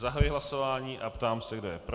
Zahajuji hlasování a ptám se, kdo je pro.